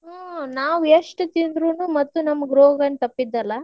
ಹ್ಮ್‌ ನಾವ್ ಎಷ್ಟ್ ತಿಂದ್ರುನು ಮತ್ತ್ ನಮ್ಗ್ ರೋಗೆನ್ ತಪ್ಪಿದಲ್ಲಾ.